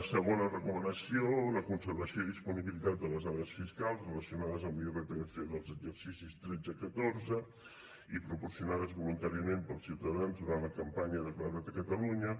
segona recomanació la conservació i disponibilitat de les dades fiscals relacionades amb l’irpf dels exercicis tretze i catorze i proporcionades voluntàriament pels ciutadans durant la campanya declara’t a catalunya